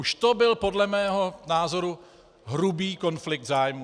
Už to byl podle mého názoru hrubý konflikt zájmů.